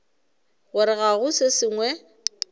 gore ga go se sengwe